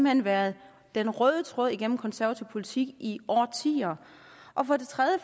hen været den røde tråd igennem konservativ politik i årtier og for det tredje